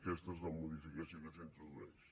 aquesta és la modificació que s’introdueix